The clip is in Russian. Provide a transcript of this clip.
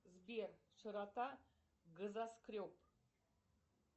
сбер широта газоскреб